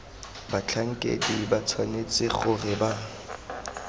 batlhankedi ba tshwanetse gore ba